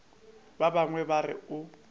ba bangwe ba re o